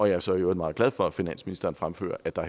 jeg er så i øvrigt meget glad for at finansministeren fremfører at der